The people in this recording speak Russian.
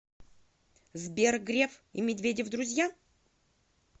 сбер греф и медведев друзья